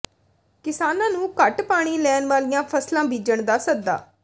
ਕਿਸਾਨਾਂ ਨੂੰ ਘੱਟ ਪਾਣੀ ਲੈਣ ਵਾਲੀਆਂ ਫ਼ਸਲਾਂ ਬੀਜਣ ਦਾ ਸੱਦਾ